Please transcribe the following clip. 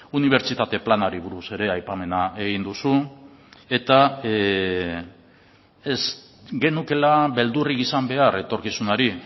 unibertsitate planari buruz ere aipamena egin duzu eta ez genukeela beldurrik izan behar etorkizunari